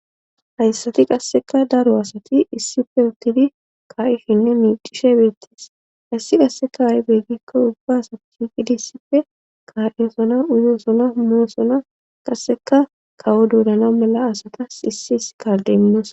hayssati qasseka daro asati issipe uttidi kaa7ishinne miicishe beettis hayssi qasseka a7y beggikko ubba asath qidissipfe kaa7eosona uyoosona moosona qasseka kawo doorana mala asatas issi is kardemmos